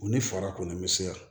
U ni fara kɔni mɛ se yan